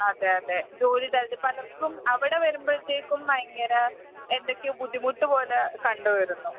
അതെ. അതെ അതെ പലർക്കും അവിടെവരുമ്പോഴത്തേക്കും ഭയങ്കര എന്തൊക്കെയോ ബുദ്ധിമുട്ട്പോലെ കണ്ടുവരുന്നു..